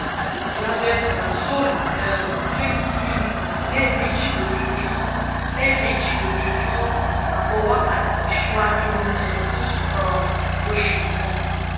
rabeprazole um twenty milligram lẹ́ẹ̀méjì lójúmọ́ lẹ́ẹ̀méjì lójúmọ́ ààbọ̀ wákàtí ṣíwájú oúnjẹ fún um oṣù kan syp